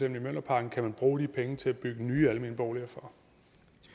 i mjølnerparken kan bruge de penge til at bygge nye almene boliger